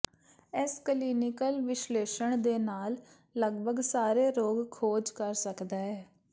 ਇਸ ਕਲੀਨਿਕਲ ਵਿਸ਼ਲੇਸ਼ਣ ਦੇ ਨਾਲ ਲਗਭਗ ਸਾਰੇ ਰੋਗ ਖੋਜ ਕਰ ਸਕਦਾ ਹੈ